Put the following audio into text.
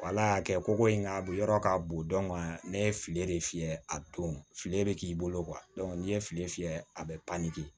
Wala y'a kɛ ko ko in nka a bɛ yɔrɔ ka bon ne ye file de fiyɛ a don fili de bɛ k'i bolo n'i ye file fiyɛ a bɛ pan k'i